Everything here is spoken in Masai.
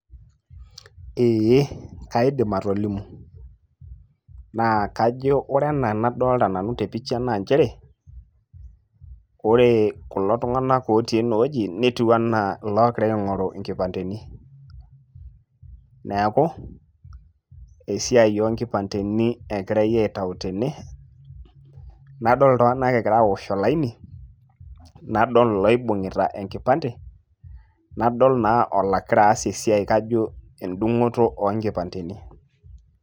Ee kaidim atolimu naa kajo anaa enadolita nanu te picha nchere ore kulo tunganak otii enowoji netiu anaa iloogira aingoru nkipanteni .neku esiai oonkipanteni egirai aitayu tene nadol iltunganak egira aosh olaini ,nadol ilooibungita enkipante nadol naa olaira aas esiai kajo endungoto oo nkipanteni.